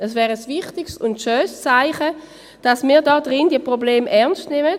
Es wäre ein wichtiges und schönes Zeichen dafür, dass wir hier in diesem Saal diese Probleme ernst nehmen.